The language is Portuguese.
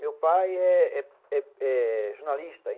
Meu pai é é é jornalista.